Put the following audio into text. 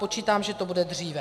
Počítám, že to bude dříve.